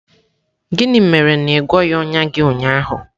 Gịnị mere na ị na-agwọghị ọnya gị ụnyaahụ?